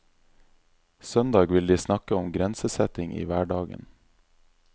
Søndag vil de snakke om grensesetting i hverdagen.